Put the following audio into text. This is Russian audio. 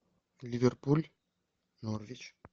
ливерпуль норвич